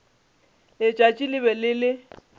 letšatši le be le le